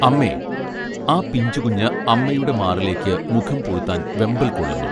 അമ്മേ ആ പിഞ്ചു കുഞ്ഞ് അമ്മയുടെ മാറിലേക്ക് മുഖം പൂഴ്ത്താൻ വെമ്പൽ കൊള്ളുന്നു